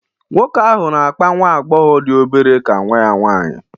Nwoke ahụ na-akpa nwa agbọghọ dị obere ka nwa ya nwanyị